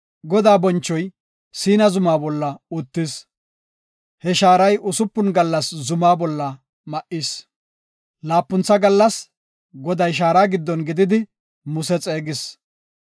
Godaa bonchoy Siina Zumaa bolla uttis. He shaaray usupun gallas zuma bolla ma7is; laapuntha gallas Goday shaara giddon gididi Muse xeegis.